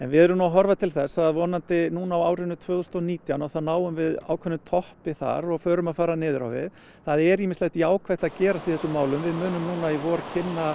við erum að horfa til þess að núna á árinu tvö þúsund og nítján að þá náum við ákveðnum toppi þar og förum að fara niður á við það er ýmislegt jákvætt að gerast í þessum málum við munum núna í vor kynna